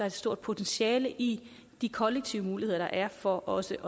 et stort potentiale i de kollektive muligheder der er for også